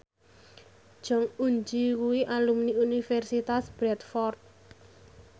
Jong Eun Ji kuwi alumni Universitas Bradford